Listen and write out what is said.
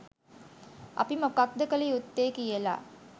අපි මොකක්ද කළ යුත්තේ කියලා